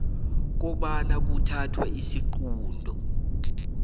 kobana kuthathwe isiqunto